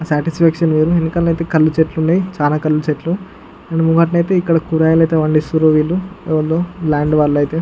satisfaction వేరు వెనుకల అయితె కల్లు చెట్లు వున్నాయ్ చాల కళ్లు చెట్లు అండ్ ముంగటనైతే ఇక్కడ కూరగాయలు అయితే పండిస్తున్రు వీల్లు ఎవల్లో ల్యాండ్ వాళ్ళు అయితె --